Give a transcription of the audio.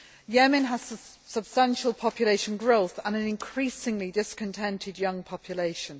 Yemen has substantial population growth and an increasingly discontented young population.